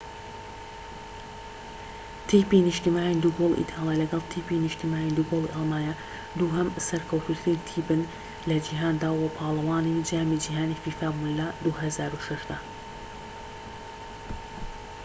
تیپی نیشتیمانیی دووگۆڵی ئیتاڵیا لەگەڵ تیپی نیشتیمانیی دووگۆڵی ئەڵمانیا دووهەم سەرکەوتووترین تیپن لە جیهاندا و پاڵەوانی جامی جیهانیی فیفا بوون لە ٢٠٠٦ دا